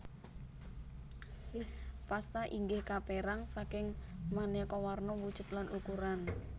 Pasta inggih kapérang saking manéka warna wujud lan ukuran